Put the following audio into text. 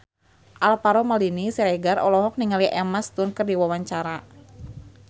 Alvaro Maldini Siregar olohok ningali Emma Stone keur diwawancara